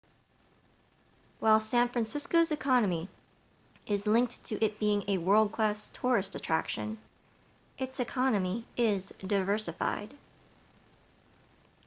while san francisco's economy is linked to it being a world-class tourist attraction its economy is diversified